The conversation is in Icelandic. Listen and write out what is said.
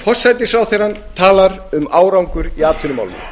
forsætisráðherrann talar um árangur í atvinnumálum